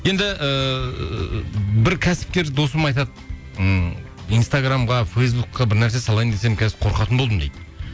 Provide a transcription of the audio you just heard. енді ііі бір кәсіпкер досым айтады ммм инстаграмға фейсбукқа бір нәрсе салайын десем қазір қорқатын болдым дейді